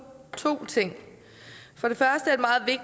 to ting